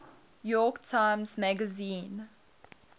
york times magazine